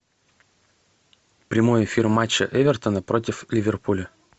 прямой эфир матча эвертона против ливерпуля